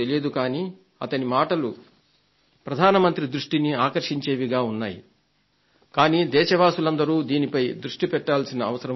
కానీ అతని మాటలు ప్రధాన మంత్రి దృష్టిని ఆకర్షించేవిగా ఉన్నాయి కానీ దేశవాసులందరు దీనిపై దృష్టి పెట్టాల్సిన అవసరం ఉంది